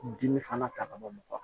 Dimi fana ta ka bɔ mɔgɔ